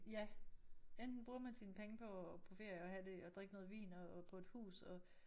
Ja enten bruger man sine penge på at på ferie og have det og drikke noget vin og på et hus og